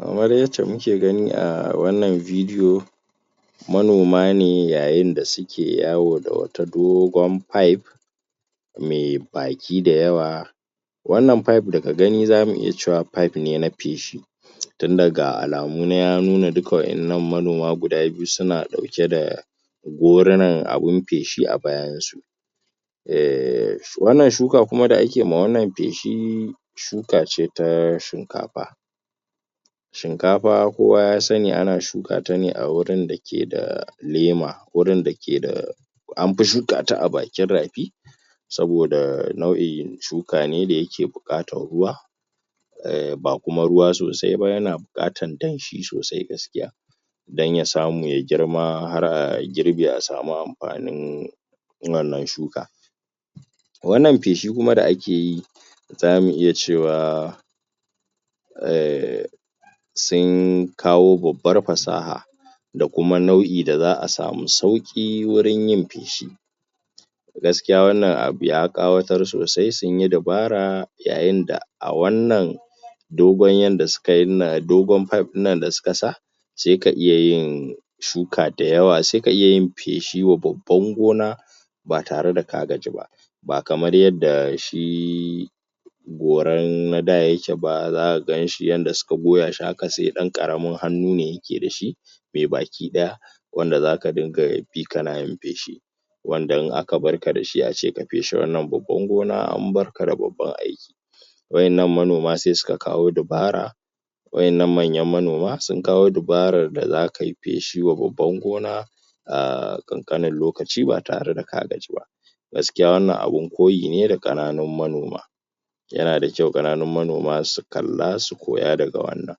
Kamar yacce muke gani a wannan vidiyo manoma ne yayin da suke yawo da wata dogon fayef mai baki da yawa wannan fayef daka gani zamu iya cewa fayef ne feshi tunda ga alamu nan ya nuna duk wa'innan manoma guda biyu suna ɗauke da gorunan abun feshi a bayan su um wannan shuka kuma da ake ma wannan feshi shuka ce ta shinkafa shinkafa kowa ya sanni ana shuka ta ne a wurin dake da lema wurin dake da anfi shuka ta a bakin rafi saboda nau'in shuka ne da yake buƙatan ruwa um ba kuma ruwa sosai ba yana buƙatan danshi sosai gaskiya dan ya samu ya girma har a girbe a samu am.. fanin wannan shuka wannan feshi kuma da akeyi zamu iya cewa um sin kawo babbar fasaha da kuma nau'i da za'a samu sauƙi wurin yin feshi gaskiya wannan abu ya ƙawatar sosai sunyi dubara yayin da a wannan dogon yanda suka yin nan, dogon fayef nan da suka sa sai ka iya yin shuka da yawa sai ka iya yin feshi wa babban gona ba tare da ka gaji ba ba kamar yanda shi goran na da yake ba, za'a ganshi yanda suka goya shi haka sai ɗan ƙaramin hannu ne yake dashi mai baki ɗaya wanda zaka dunga bi kana yin feshi wanda in aka barka dashi ace ka feshe wannan babban gona an bar.. ka da babban aiki wa'innan manoma sai suka kawo dubara wa'innan manyan manoma sun kawo dubarar da zakai feshi wa babban gona aaa ƙanƙanin lokaci ba tare da ka gaji ba gaskiya wannan abun koyi ne da ƙananun manoma yana da kyau ƙananun manoma su kalla su koya daga wannan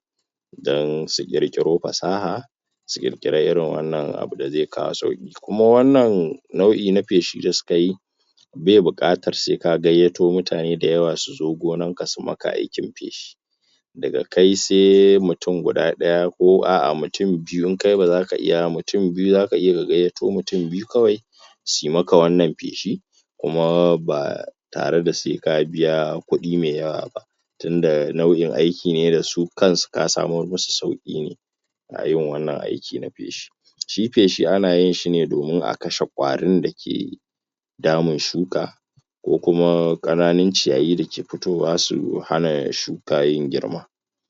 dan su ƙirƙiro fasaha su ƙirƙira irin wannan abu da zai kawo sauƙi kuma wannan nau'i na feshi da suka yi bai buƙatar sai ka gayyato mutane da yawa su zo gonanka su maka aikin feshi daga kai sai mutum guda ɗaya ko a'a mutum biyu in kai ba zaka iya ba, mutum biyu zaka iya ka gayya to mutum biyu kawai suyi maka wannan feshi tare da sai ka biya kuɗi mai yawa ba tunda nau'in aiki ne da su kansu ka samar musu sauƙi ne a irin wannan aiki na feshi shi feshi ana yin shi ne domin a kashe ƙwarin dake damun shuka ko kuma ƙananun ciyayi dake futowa su hana ya shuka yin girma.